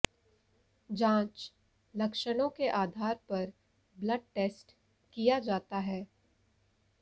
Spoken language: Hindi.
जांच लक्षणों के आधार पर ब्लड टेस्ट किया जाता है